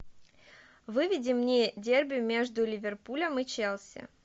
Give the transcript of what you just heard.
выведи мне дерби между ливерпулем и челси